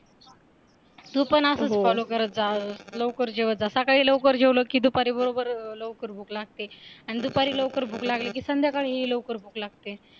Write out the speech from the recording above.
तू पण असंच fallow करत जा लवकर जेवत जा सकाळी लवकर जेवलो की दुपारी बरोबर लवकर भूक लागते अन दुपारी लवकर भूक लागली की संध्याकाळी लवकर भूक लागते